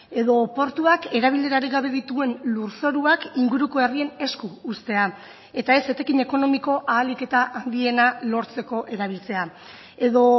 edo portuak erabilerarik gabe dituen lurzoruak inguruko herrien esku uztea eta ez etekin ekonomiko ahalik eta handiena lortzeko erabiltzea edo